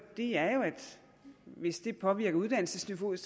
er jo at hvis det påvirker uddannelsesniveauet